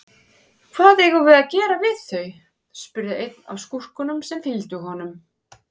Hvað eigum við að gera við þau, spurði einn af skúrkunum sem fylgdu honum.